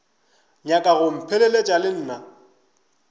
nyaka go mpheleletša le nna